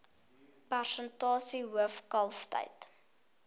persentasie hoof kalftyd